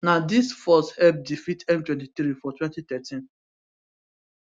na dis force help defeat m23 for 2013